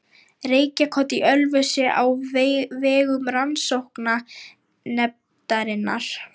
Reykjakot í Ölfusi á vegum Rannsóknanefndarinnar.